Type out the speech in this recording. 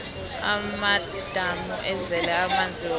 amadamu azele amanzi woke